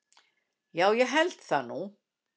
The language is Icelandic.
Já ég held það nú.